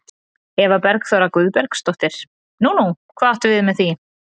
Eva Bergþóra Guðbergsdóttir: Nú, nú, hvað áttu við með því?